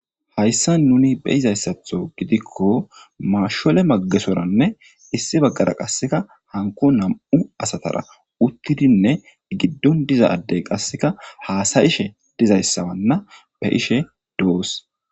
Hayssan nuni be7izayssatho gidikko maashole magesoranne issi baggara qasseka hanko nam7u asatara uttidinne giddon diza addey qasseka haasa7ishe dizayssa wanna be7ishe de7oos.